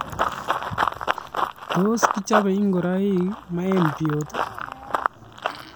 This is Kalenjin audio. Tos kichobe ingoroik maembjot ?